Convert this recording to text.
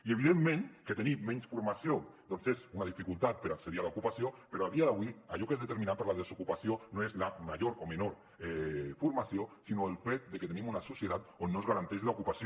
i evidentment que tenir menys formació doncs és una dificultat per accedir a l’ocupació però a dia d’avui allò que és determinant per a la desocupació no és la major o menor formació sinó el fet de que tenim una societat on no es garanteix l’ocupació